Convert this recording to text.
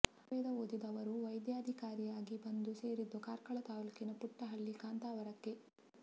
ಆಯುರ್ವೇದ ಓದಿದ ಅವರು ವೈದ್ಯಧಿಕಾರಿಯಾಗಿ ಬಂದು ಸೇರಿದ್ದು ಕಾರ್ಕಳ ತಾಲೂಕಿನ ಪುಟ್ಟ ಹಳ್ಳಿ ಕಾಂತಾವರಕ್ಕೆ